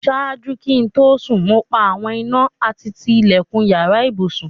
Ṣáàjú kí n tó sún, mo pa awọn ìnà àti tí ilẹ̀kún ìyàrà ìbùṣún.